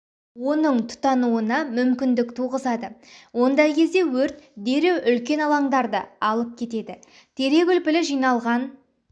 оның тұтануына мүмкіндік туғызады ондай кезде өрт дереу үлкен алаңдарды алып кетеді терек үлпілі жиналған